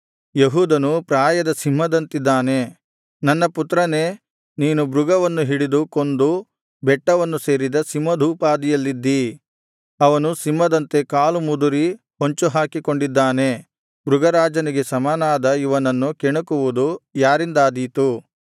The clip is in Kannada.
ಯೆಹೂದನು ಪ್ರಾಯದ ಸಿಂಹದಂತಿದ್ದಾನೆ ನನ್ನ ಪುತ್ರನೇ ನೀನು ಮೃಗವನ್ನು ಹಿಡಿದು ಕೊಂದು ಬೆಟ್ಟವನ್ನು ಸೇರಿದ ಸಿಂಹದೋಪಾದಿಯಲ್ಲಿದ್ದೀ ಅವನು ಸಿಂಹದಂತೆ ಕಾಲು ಮುದುರಿ ಹೊಂಚುಹಾಕಿಕೊಂಡಿದ್ದಾನೆ ಮೃಗ ರಾಜನಿಗೆ ಸಮನಾದ ಇವನನ್ನು ಕೆಣಕುವುದು ಯಾರಿಂದಾದೀತು